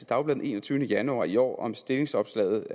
dagblad den enogtyvende januar i år om stillingsopslaget